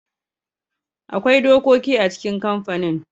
Akwai dokoki a cikin kamfanin.